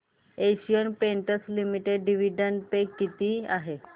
Asian Paints Limited dividend pay किती आहे